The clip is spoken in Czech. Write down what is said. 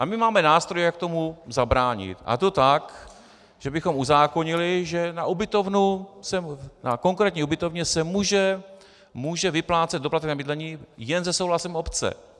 A my máme nástroj, jak tomu zabránit, a to tak, že bychom uzákonili, že na konkrétní ubytovně se může vyplácet doplatek na bydlení jen se souhlasem obce.